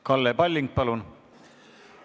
Kalle Palling, palun!